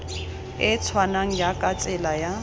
e tshwanang jaaka tsela ya